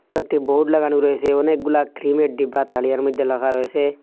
কয়েকটি বোর্ড লাগানো রয়েসে অনেকগুলো ক্লিমের ডিব্বা তারিয়ার মধ্যে লাখা রয়েসে ।